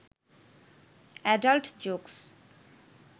adult jokes